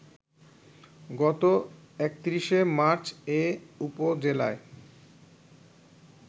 গত ৩১ মার্চ এ উপজেলায়